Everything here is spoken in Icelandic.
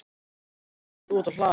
Gamli maðurinn stóð úti á hlaði.